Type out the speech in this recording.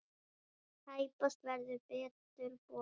Tæpast verður betur boðið!